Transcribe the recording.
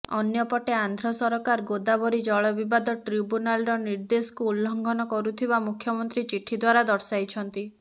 ଅନ୍ୟପଟେ ଆନ୍ଧ୍ର ସରକାର ଗୋଦାବରୀ ଜଳ ବିବାଦ ଟ୍ରିବ୍ୟୁନାଲର ନିର୍ଦ୍ଦେଶକୁ ଉଲଙ୍ଘନ କରୁଥିବା ମୁଖ୍ୟମନ୍ତ୍ରୀ ଚିଠି ଦ୍ୱାରା ଦର୍ଶାଇଛନ୍ତି